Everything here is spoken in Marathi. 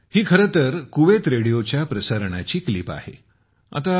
ही खरे तर कुवेत रेडिओच्या प्रसारणाची क्लिप आहे प्रसारणाचा एक भाग आहे